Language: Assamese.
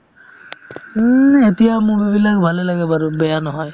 উম, এতিয়া movie বিলাক ভালে লাগে বাৰু বেয়া নহয়